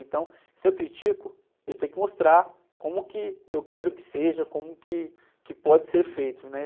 Então, se eu critico, eu tenho que mostrar como que eu quero que seja, como que, que pode ser feito, né?